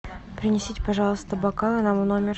принесите пожалуйста бокалы нам в номер